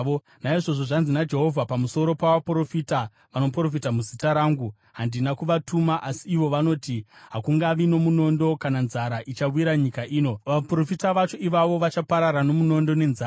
Naizvozvo zvanzi naJehovha pamusoro pavaprofita vanoprofita muzita rangu: Handina kuvatuma, asi ivo vanoti, ‘Hakungavi nomunondo kana nzara ichawira nyika ino.’ Vaprofita vacho ivavo, vachaparara nomunondo nenzara.